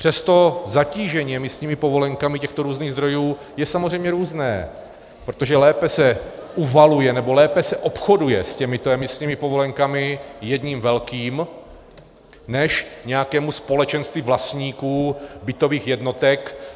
Přesto zatížení emisními povolenkami těchto různých zdrojů je samozřejmě různé, protože lépe se uvaluje, nebo lépe se obchoduje s těmito emisními povolenkami jedním velkým než nějakému společenství vlastníků bytových jednotek.